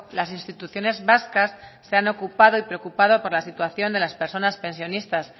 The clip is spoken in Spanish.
las instituciones vascas se han ocupado y preocupado por la situación de las personas pensionistas